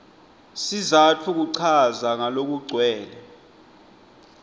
sizatfu kuchaza ngalokugcwele